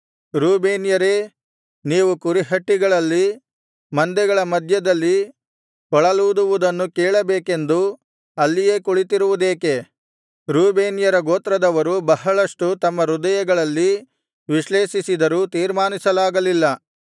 ರೂಬೇನ್ಯರೇ ನೀವು ಕುರಿಹಟ್ಟಿಗಳಲ್ಲಿ ಮಂದೆಗಳ ಮಧ್ಯದಲ್ಲಿ ಕೊಳಲೂದುವುದನ್ನು ಕೇಳಬೇಕೆಂದು ಅಲ್ಲಿಯೇ ಕುಳಿತಿರುವುದೇಕೆ ರೂಬೇನ್ಯರು ಗೋತ್ರದವರು ಬಹಳಷ್ಟು ತಮ್ಮ ಹೃದಯಗಳಲ್ಲಿ ವಿಶ್ಲೇಷಿಸಿದರೂ ತೀರ್ಮಾನಿಸಲಾಗಲ್ಲಿಲ್ಲ